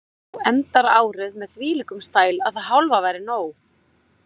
Þú endar árið með þvílíkum stæl að það hálfa væri nóg.